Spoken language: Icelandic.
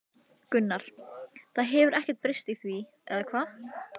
Gunnar: Það hefur ekkert breyst í því, eða hvað?